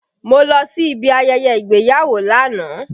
Mo lọ sí ibi ayẹyẹ ìgbéyàwó lánàá